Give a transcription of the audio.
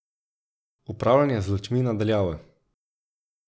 Upravljanje z lučmi na daljavo.